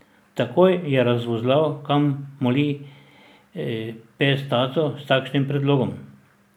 Takoj je razvozlal, kam moli pes taco s takšnim predlogom.